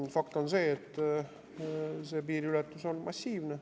Aga fakt on see, et see piiriületus on massiivne.